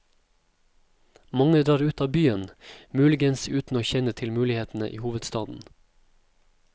Mange drar ut av byen, muligens uten å kjenne til mulighetene i hovedstaden.